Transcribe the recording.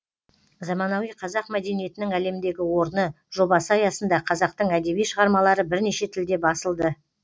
заманауи қазақ мәдениетінің әлемдегі орны жобасы аясында қазақтың әдеби шығармалары бірнеше тілде басылды